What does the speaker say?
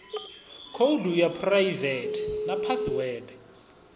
khoudu ya phuraivethe na phasiwede